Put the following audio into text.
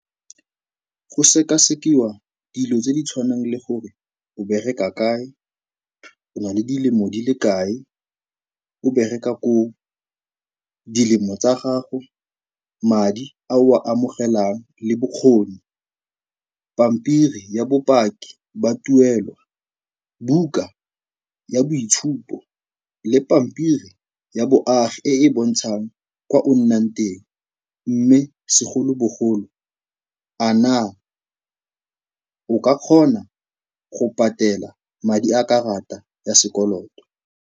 Go sekasekiwa dilo tse di tshwanang le gore o bereka kae, o na le dilemo di le kae o bereka koo, dilemo tsa gago, madi a o a amogelang le bokgoni, pampiri ya bopaki ba tuelo, buka ya boitshupo le pampiri ya boagi e e bontshang kwa o nnang teng, mme segolobogolo, a naa o ka kgona go patela madi a karata ya sekoloto.